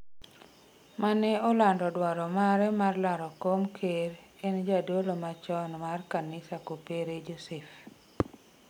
mane olando dwaro mare mar laro kom ker en jadolo machom mar kanisa jokopere Josef